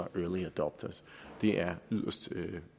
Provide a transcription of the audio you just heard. early adopters det er